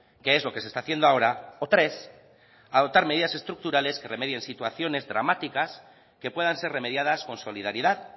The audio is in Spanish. que es lo que se está haciendo ahora o tres adoptar medidas estructurales que remedien situaciones dramáticas que puedan ser remediadas con solidaridad